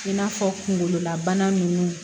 I n'a fɔ kungololabana ninnu